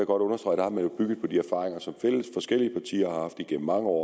godt understrege at man har bygget på de erfaringer som forskellige partier har haft igennem mange år